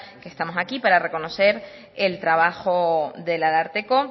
que estamos aquí para reconocer el trabajo del ararteko